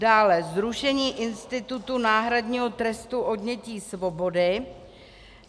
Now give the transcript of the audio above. Dále zrušení institutu náhradního trestu odnětí svobody.